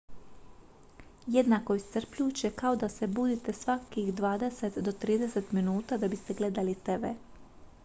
jednako je iscrpljujuće kao da se budite svakih dvadeset do trideset minuta da biste gledali tv